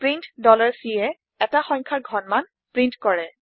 print Cএ এটা সংখ্যাৰ ঘনমান প্ৰীন্ট কৰে